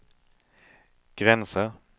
gränser